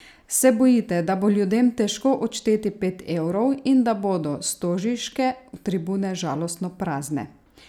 Se bojite, da bo ljudem težko odšteti pet evrov in da bodo stožiške tribune žalostno prazne?